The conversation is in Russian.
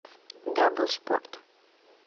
дабл спорт